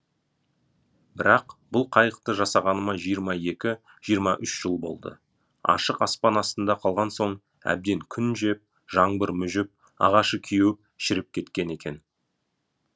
бірақ бұл қайықты жасағаныма жиырма екі жиырма үш жыл болды ашық аспан астында қалған соң әбден күн жеп жаңбыр мүжіп ағашы кеуіп шіріп кеткен екен